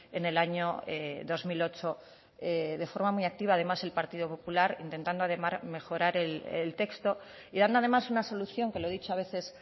en el año dos mil ocho de forma muy activa además el partido popular intentando mejorar el texto y dando además una solución que lo he dicho a veces